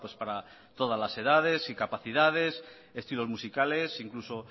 para todas las edades y capacidades estilos musicales incluso